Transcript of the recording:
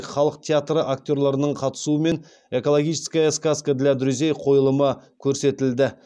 халық театры актерлерінің қатысуымен экологическая сказка для друзей қойылымы көрсетілді